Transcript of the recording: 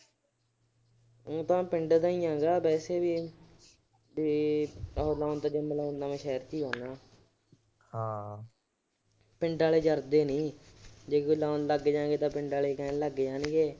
ਓ ਤਾਂ ਮੈਂ ਪਿੰਡ ਦਾ ਗਾ ਵੈਸੇ ਵੀ ਤੇ ਉਹ ਜਿੰਮ ਲਾਉਣ ਤਾਂ ਮੈਂ ਸ਼ਹਿਰ ਚ ਈ ਜਾਂਦਾ ਗਾ। ਪਿੰਡ ਆਲੇ ਜਰਦੇ ਨੀ। ਜੇ ਕੋਈ ਲਾਉਣ ਲੱਗ ਜੇ ਪਿੰਡ ਆਲੇ ਕਹਿਣ ਲੱਗ ਜਾਣਗੇ